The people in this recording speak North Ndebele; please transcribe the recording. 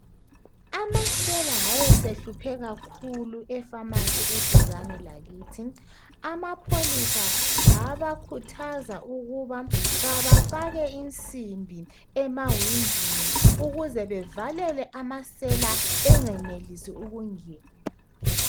Amasela ayesehluphe kakhulu e"pharmacy" yeduzane lakithi amapholisa abakhuthaza ukuba kabafake insimbi emawindini ukuze bavale amasela enganelisi ukungena.